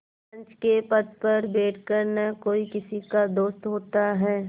पंच के पद पर बैठ कर न कोई किसी का दोस्त होता है